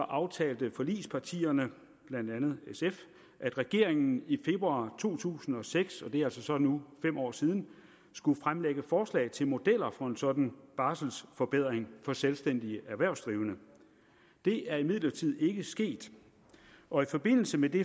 aftalte forligspartierne blandt andet sf at regeringen i februar to tusind og seks hvilket altså så nu fem år siden skulle fremlægge forslag til modeller for en sådan barselforbedring for selvstændige erhvervsdrivende det er imidlertid ikke sket og i forbindelse med det